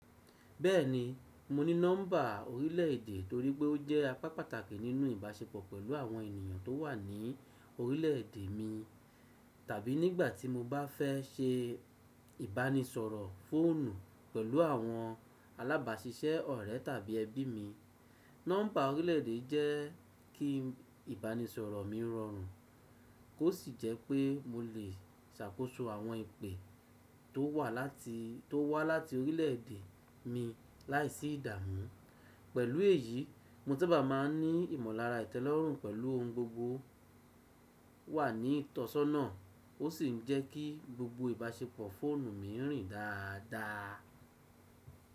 Bẹ́ẹ̀ni, mo ní nọ́mbà orílẹ̀ èdè torí pé ó jẹ́ apá pàtàkì nínú ìbáṣepọ̀ pẹ̀lú àwọn ènìyàn tó wà ní orílẹ̀ èdè mi. Tàbí nígbà tí mo bá fẹ́ ṣe ìbánisọ̀rọ̀ fóònù pẹ̀lú àwọn alábàáṣiṣẹ́ ọ̀rẹ́ tàbí ẹbí mi, nọ́mbà orílẹ̀ èdè jẹ́ kí ìbánisọ̀rọ̀ mi rọrùn. Ó sì jẹ́ pé mo lè ṣàkóso àwọn ìpè tó wá láti orílẹ̀ èdè mi láìsí ìdààmú. Pẹ̀lú èyí, mo saba má a ní ìmọ̀lára ìtẹ́lọ́rùn pẹ̀lú ohun gbogbo wà ní ìtọ́sọ́nà. Ó sì ń jẹ́ kí gbogbo ìbáṣepọ̀ fóònù mi rìn dáadáa.